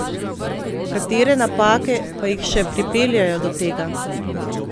Katere napake pa jih še pripeljejo do tega?